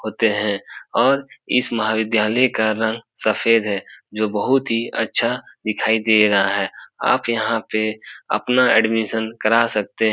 होते है और इस महाविद्यालय का रंग सफ़ेद है जो बहुत ही अच्छा दिखाई दे रहा है आप यहां पे अपना एड्मिशन करा सकते --